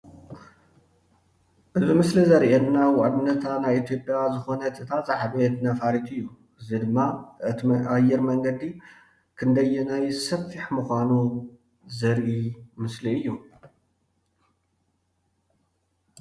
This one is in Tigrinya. እዚ ምሰሊ ዘርእየና ዋንነታ ናይ ኢትዮጵያ ዝኾነት እታ ዝዓበየት ነፋሪት እዩ እዚ ድማ እቲ አየር መንገዲ ክንደየናይ ሰፊሕ ምኻኑ ዘርኢ ምስሊ እዩ።